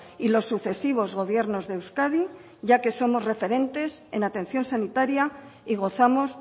y los sucesivos gobiernos de euskadi ya que somos referentes en atención sanitaria y gozamos